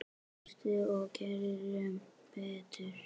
Hlustum og gerum betur.